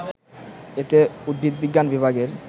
এতে উদ্ভিদবিজ্ঞান বিভাগের